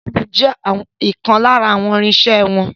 Gílóóbù jẹ́ ọ̀kan lára àwọn irinsẹ́ wọn